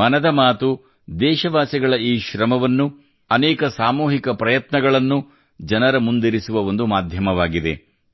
ಮನದ ಮಾತು ದೇಶವಾಸಿಗಳ ಈ ಶ್ರಮವನ್ನು ಅನೇಕ ಸಾಮೂಹಿಕ ಪ್ರಯತ್ನಗಳನ್ನು ಜನರ ಮುಂದಿರಿಸುವ ಒಂದು ಮಾಧ್ಯಮವಾಗಿದೆ